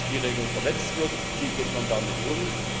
Wenn Spielregeln verletzt werden, wie geht man damit um?